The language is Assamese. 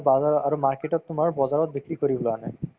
bazar ত আৰু market তত তোমাৰ বজাৰত বিক্ৰী কৰিবলৈ আনে